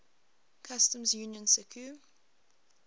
customs union sacu